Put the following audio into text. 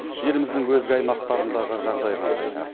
еліміздің өзге аймақтарындағы жағдай қандай